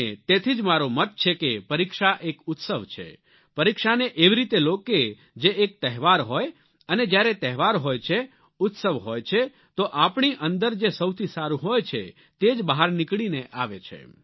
અને તેથી જ મારો મત છે કે પરીક્ષા એક ઉત્સવ છે પરીક્ષાને એવી રીતે લો કે જે એક તહેવાર હોય અને જ્યારે તહેવાર હોય છે ઉત્સવ હોય છે તો આપણી અંદર જે સૌથી સારું હોય છે તે જ બહાર નીકળીને આવે છે